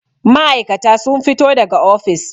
ma'aikata sun fito daga ofis